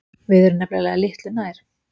Við erum nefnilega litlu nær.